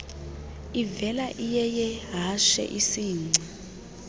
ivela iyeyehashe isingci